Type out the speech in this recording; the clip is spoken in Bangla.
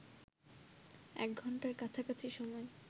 এক ঘণ্টার কাছাকাছি সময়